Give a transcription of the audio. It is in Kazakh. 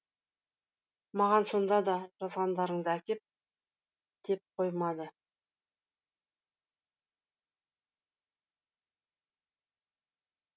маған сонда да жазғандарыңды әкеп деп қоймады